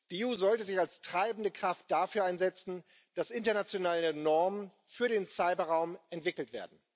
Die EU sollte sich als treibende Kraft dafür einsetzen, dass internationale Normen für den Cyberraum entwickelt werden.